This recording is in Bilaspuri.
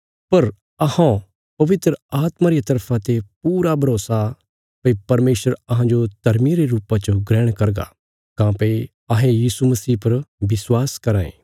पर अहौं पवित्र आत्मा रिया तरफा ते पूरा भरोसा भई परमेशर अहांजो धर्मिये रे रुपा च ग्रहण करगा काँह्भई अहें यीशु मसीह पर विश्वास कराँ ये